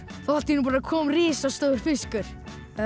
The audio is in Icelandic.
allt í einu kom risastór fiskur